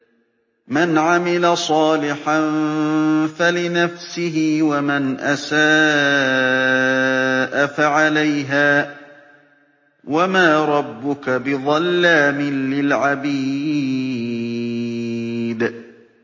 مَّنْ عَمِلَ صَالِحًا فَلِنَفْسِهِ ۖ وَمَنْ أَسَاءَ فَعَلَيْهَا ۗ وَمَا رَبُّكَ بِظَلَّامٍ لِّلْعَبِيدِ